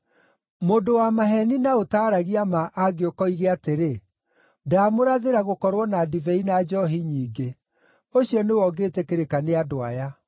Mũndũ wa maheeni na ũtaaragia ma angĩũka oige atĩrĩ, ‘Ndaamũrathĩra gũkorwo na ndibei na njoohi nyingĩ,’ ũcio nĩwe ũngĩtĩkĩrĩka nĩ andũ aya!